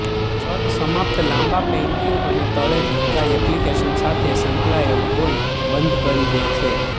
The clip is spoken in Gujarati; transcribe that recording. છત સમાપ્ત લાંબા પેઇન્ટિંગ અને તળે ઢંકાઈ એપ્લિકેશન સાથે સંકળાયેલ હોઈ બંધ કરી દે છે